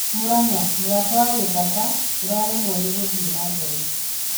Murang'a: Mũrata wa Gĩthaka ũraremwo nĩ gũthiĩ na mbere